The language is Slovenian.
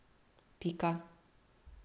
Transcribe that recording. Pika.